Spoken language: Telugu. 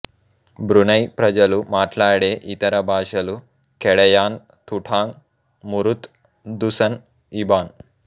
బ్రునై ప్రజలు మాట్లాడే ఇతర భాషలు Kedayan Tutong Murut Dusun Ibn